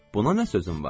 Buna nə sözüm var?